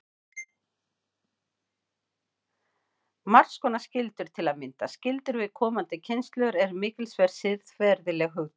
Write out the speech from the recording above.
Margs konar skyldur, til að mynda skyldur við komandi kynslóðir, eru mikilsverð siðferðileg hugtök.